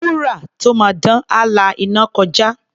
Wúrà tó máa dán, á la iná kọjá.